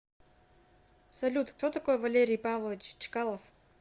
салют кто такой валерий павлович чкалов